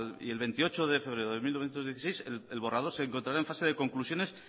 y el veintiocho de febrero de dos mil dieciséis el borrador se encontrará en fase de conclusiones